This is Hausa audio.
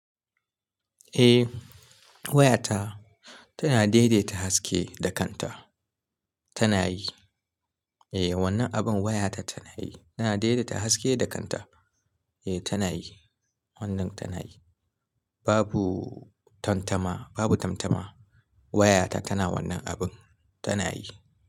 Eh wayata tana daidaita haske da kanta, tana yi. Eh wannan abin wayarta tana yi, tana daidaita haske da kanta. Eh tana yi, wannan tana yi. Babu tantama, babu tantama wayata tana wannan abin, tana yi.